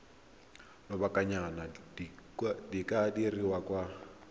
lobakanyana di ka dirwa kwa